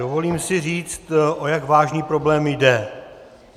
Dovolím si říct, o jak vážný problém je.